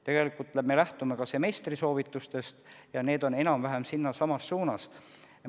Tegelikult me lähtume ka semestri soovitustest ja need on enam-vähem samas suunas.